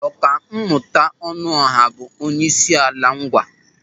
Ọkammụta Ọnụọha bụ onye Isiala Ńgwà.